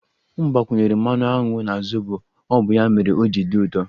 M gbakwunyere mmanụ aṅụ na zobo ọ bụ ya mere o ji dị ụtọ